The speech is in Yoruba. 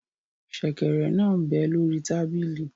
Sẹ̀kẹ̀rẹ̀ náà m bẹ lórí tábìlì